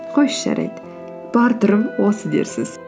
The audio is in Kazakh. қойшы жарайды бар түрім осы дерсіз